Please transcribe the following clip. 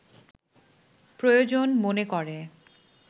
প্রয়োজন মনে করে